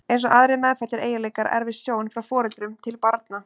Eins og aðrir meðfæddir eiginleikar erfist sjón frá foreldrum til barna.